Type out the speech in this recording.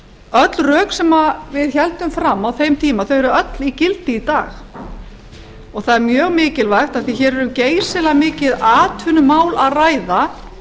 öll rök sem við héldum fram á þeim tíma þau eru öll í gildi í dag og það er mjög mikilvægt af því hér er um geysilega mikið atvinnumál að ræða